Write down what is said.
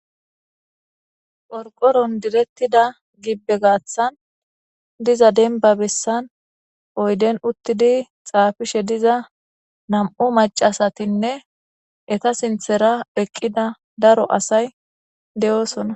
porqoron direttida gibbe gaaththan diza denba bessan oyden uttidi xaafishe diza nam7u macasatinne eta sinthera eqqida daro asay de7oosona